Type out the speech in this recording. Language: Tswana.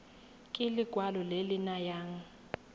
ke lekwalo le le nayang